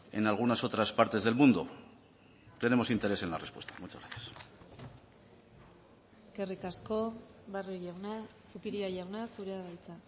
en algunas otras partes del mundo tenemos interés en la respuesta muchas gracias eskerrik asko barrio jauna zupiria jauna zurea da hitza